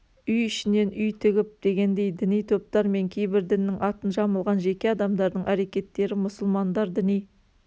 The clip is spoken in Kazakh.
үй ішінен үй тігіп дегендей діни топтар мен кейбір діннің атын жамылған жеке адамдардың әрекеттері мұсылмандар діни